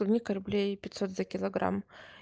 клубника рублей пятьсот за килограмм